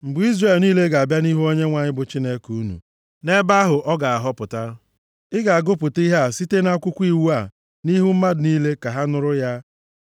mgbe Izrel niile ga-abịa nʼihu Onyenwe anyị bụ Chineke unu, nʼebe ahụ ọ ga-ahọpụta, ị ga-agụpụta ihe a site nʼakwụkwọ iwu a nʼihu mmadụ niile ka ha nụrụ ya.